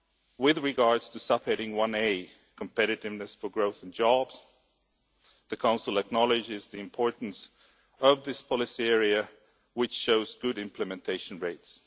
With regard to subheading 1a Competitiveness for Growth and Jobs the Council acknowledges the importance of this policy area, which shows implementation rates.